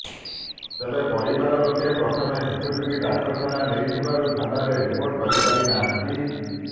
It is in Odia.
ତେବେ ପରିବାର ଲୋକେ ପ୍ରଥମେ ଶିଶୁଟିକୁ ଡାକ୍ତରଖାନା ନେଇଥିବାରୁ ଥାନାରେ ରିପୋର୍ଟ କରିପାରି ନାହାନ୍ତି